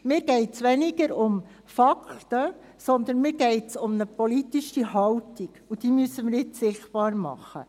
Mir geht es weniger um Fakten, sondern um eine politische Haltung, und diese müssen wir nun sichtbar machen.